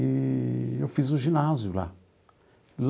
Eee eu fiz o ginásio lá.